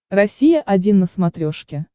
россия один на смотрешке